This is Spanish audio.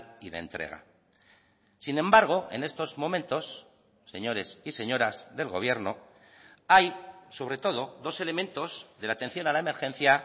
y de entrega sin embargo en estos momentos señores y señoras del gobierno hay sobre todo dos elementos de la atención a la emergencia